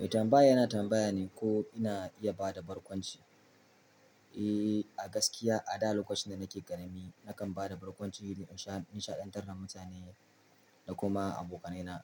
Eh tambaya yana tambaya ne ko ina iya ba da barkwanci. Eh, a gaskiya a da lokacin da nake ƙarami nakan ba da barkwanci domin in shaɗantar da mutane da kuma abokanai na,